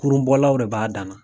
Kurun bɔlaw de b'a dan na